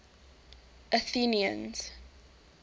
athenians